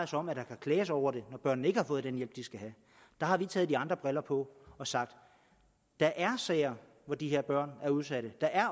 sig om at der kan klages over det når børnene ikke har fået den hjælp de skal have der har vi taget nogle andre briller på og sagt at der er sager hvor de her børn er udsatte